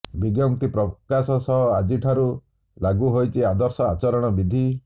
ବିଜ୍ଞପ୍ତି ପ୍ରକାଶ ସହ ଆଜି ଠାରୁ ଲାଗୁ ହୋଇଛି ଆଦର୍ଶ ଆଚରଣବିଧି